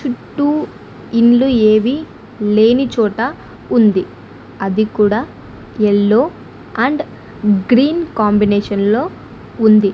చుట్టూ ఇండ్లు ఏవి లేనిచోట ఉంది అది కూడా ఎల్లో అండ్ గ్రీన్ కాంబినేషన్ లో ఉంది.